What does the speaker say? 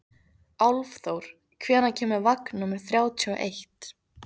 Álfþór, hvenær kemur vagn númer þrjátíu og eitt?